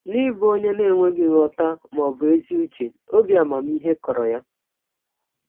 N’ịbụ ọnye na - enweghị nghọta ma ọ bụ ezi ụche, ọbi amamihe kọrọ ya.